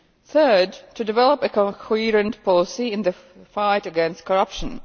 third, to develop a coherent policy in the fight against corruption